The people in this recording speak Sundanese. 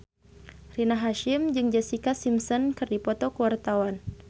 Rina Hasyim jeung Jessica Simpson keur dipoto ku wartawan